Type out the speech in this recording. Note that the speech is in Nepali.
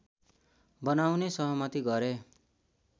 बनाउने सहमति गरे